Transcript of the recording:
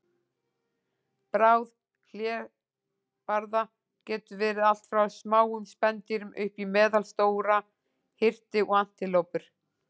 Bráð hlébarða getur verið allt frá smáum spendýrum upp í meðalstóra hirti og antilópur.